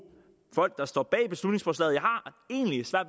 folk der står bag beslutningsforslaget